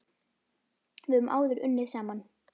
Við höfum áður unnið saman.